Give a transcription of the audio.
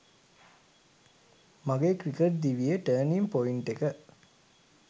මගේ ක්‍රිකට් දිවියේ 'turning point' එක